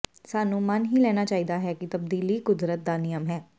ਸਾਨੂੰ ਮੰਨ ਹੀ ਲੈਣਾ ਚਾਹੀਦਾ ਹੈ ਕਿ ਤਬਦੀਲੀ ਕੁਦਰਤ ਦਾ ਨਿਯਮ ਹੈ